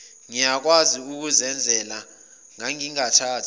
ngiyakwazi ukuzenzela ngangingathi